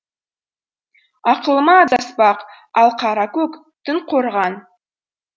ақылыма адаспақ алқаракөк түн қорған